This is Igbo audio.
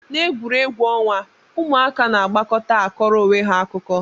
Na egwuregwu onwa, ụmụaka na agbakọta akọrọ onweha akụkọ.